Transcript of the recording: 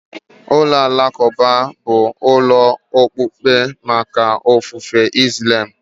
Ụlọ alakụba bụ ụlọ okpukpe maka ofufe Islam.